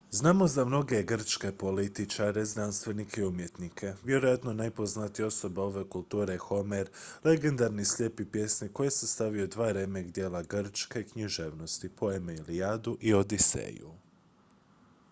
znamo za mnoge grčke političare znanstvenike i umjetnike vjerojatno najpoznatija osoba ove kulture je homer legendarni slijepi pjesnik koji je sastavio dva remek-djela grčke književnosti poeme ilijadu i odiseju